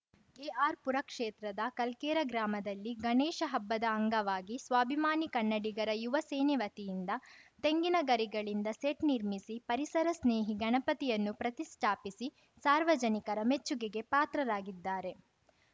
K R Pura ಕ್ಷೇತ್ರದ ಕಲ್ಕೆರೆ ಗ್ರಾಮದಲ್ಲಿ ಗಣೇಶ ಹಬ್ಬದ ಅಂಗವಾಗಿ ಸ್ವಾಭಿಮಾನಿ ಕನ್ನಡಿಗರ ಯುವ ಸೇನೆ ವತಿಯಿಂದ ತೆಂಗಿನ ಗರಿಗಳಿಂದ ಸೆಟ್‌ ನಿರ್ಮಿಸಿ ಪರಿಸರ ಸ್ನೇಹಿ ಗಣಪತಿಯನ್ನು ಪ್ರತಿಷ್ಠಾಪಿಸಿ ಸಾರ್ವಜನಿಕರ ಮೆಚ್ಚುಗೆಗೆ ಪಾತ್ರರಾಗಿದ್ದಾರೆ